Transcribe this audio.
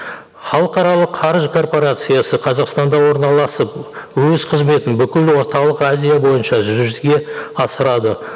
халықаралық қаржы корпорациясы қазақстанда орналасып өз қызметін бүкіл орталық азия бойынша жүзеге асырады